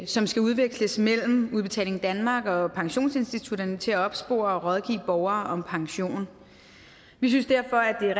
som skal udveksles mellem udbetaling danmark og pensionsinstitutterne til at opspore og rådgive borgere om pension vi synes derfor at det er